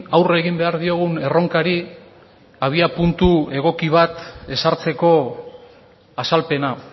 aurre egin behar diogun erronkari abiapuntu egoki bat ezartzeko azalpena